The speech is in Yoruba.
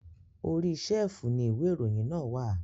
Orí ṣẹ́fùù ni ìwé ìròyìn náà wà.